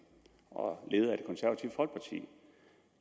og leder